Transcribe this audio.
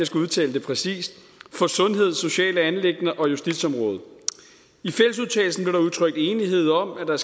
skal udtale det præcist for sundhed sociale anliggender og justitsområdet i fællesudtalelsen blev der udtrykt enighed om at der